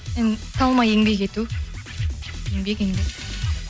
енді талмай еңбек ету еңбек еңбек